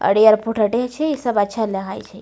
अरे यार फोटो इ सब अच्छा लागे छै।